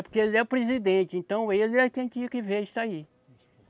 É porque ele é o presidente, então ele é quem tinha que ver isso aí.